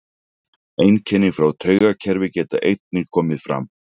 Einkenni frá taugakerfi geta einnig komið fram.